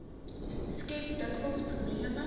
skep dikwels probleme